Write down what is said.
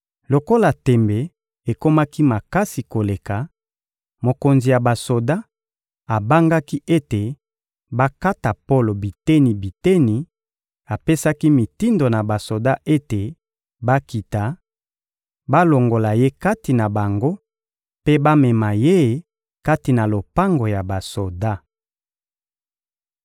Lokola tembe ekomaki makasi koleka, mokonzi ya basoda abangaki ete bakata Polo biteni-biteni; apesaki mitindo na basoda ete bakita, balongola ye kati na bango mpe bamema ye kati na lopango ya basoda.